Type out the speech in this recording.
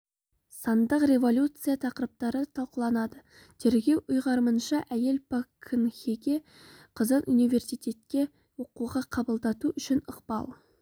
сандық революция тақырыптары талқыланады тергеу ұйғарымынша әйел пак кын хеге қызын университетке оқуға қабылдату үшін ықпал